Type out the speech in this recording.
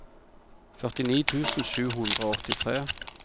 førtini tusen sju hundre og åttitre